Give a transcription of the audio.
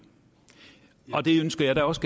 nu og det ønsker jeg da også